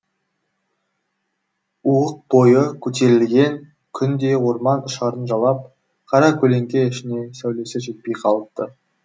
уық бойы көтерілген күн де орман ұшарын жалап қара көлеңке ішіне сәулесі жетпей қалыпты